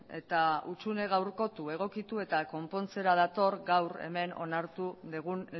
eta hutsune gaurkotu egokitu eta konpontzera dator gaur hemen onartu dugun